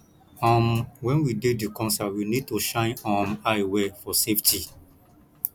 um when we dey di concert we need to shine um eye well for safety